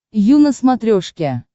ю на смотрешке